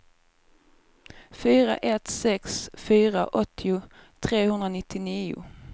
fyra ett sex fyra åttio trehundranittionio